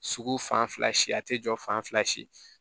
Sugu fan fila si a te jɔ fan fila si